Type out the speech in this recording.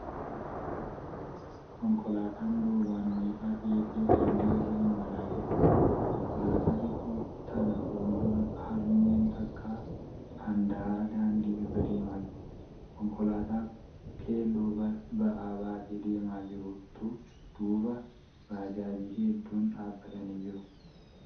Konkolaataan duubaan meeshaa feetee daandii irra imalaa jirti. Konkolaataa xiqqoo tana fuuldura harmeen takka handaara daandii irra deemaa jirti . Konkolaataa keelloo ba'aa baattee deemaa jirtu duuba baajaajii hedduun dhaabbatanii jiru.